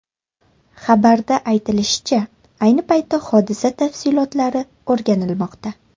Xabarda aytilishicha, ayni paytda hodisa tafsilotlari o‘rganilmoqda.